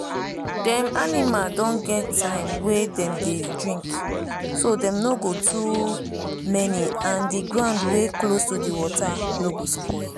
dem animal don get time wey dem dey drinkso dem no go too many and the ground wey close to the water no go spoil.